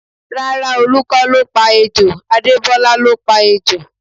Rárá, Olu kọ́ ló pa ejò, Adebola ló pa ejò